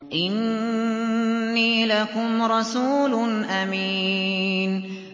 إِنِّي لَكُمْ رَسُولٌ أَمِينٌ